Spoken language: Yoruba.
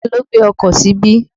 Ta ló gbé ọkọ̀ síbí?